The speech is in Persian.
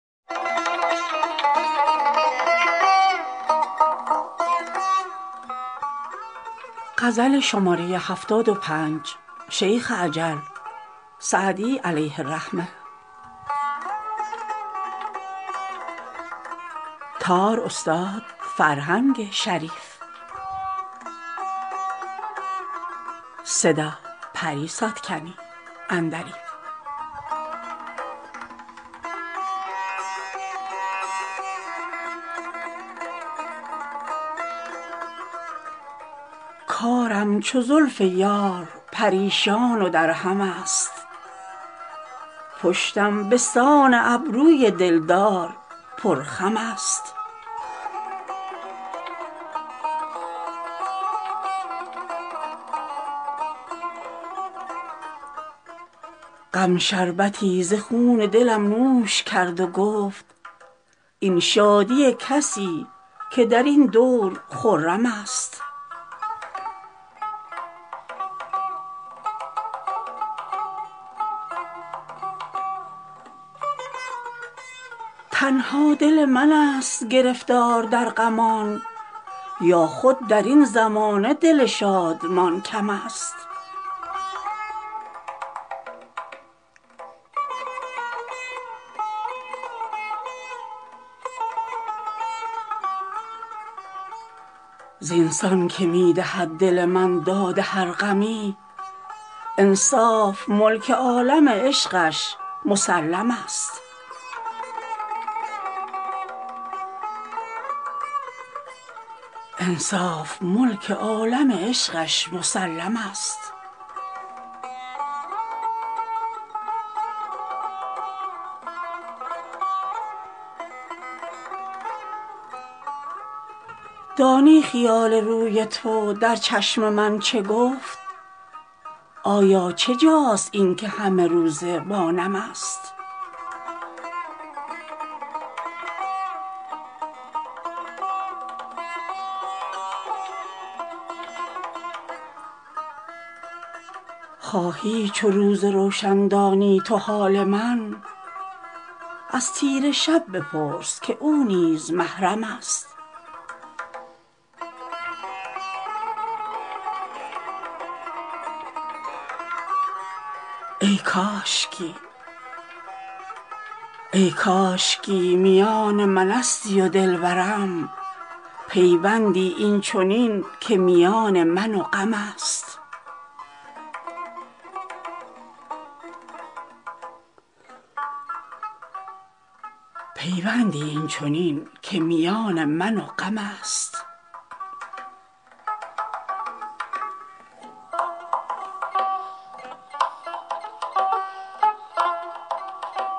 کارم چو زلف یار پریشان و درهم است پشتم به سان ابروی دل دار پرخم است غم شربتی ز خون دلم نوش کرد و گفت این شادی کسی که در این دور خرم است تنها دل من ست گرفتار در غمان یا خود در این زمانه دل شادمان کم است زین سان که می دهد دل من داد هر غمی انصاف ملک عالم عشقش مسلم است دانی خیال روی تو در چشم من چه گفت آیا چه جاست این که همه روزه با نم است خواهی چو روز روشن دانی تو حال من از تیره شب بپرس که او نیز محرم است ای کاشکی میان من استی و دل برم پیوندی این چنین که میان من و غم است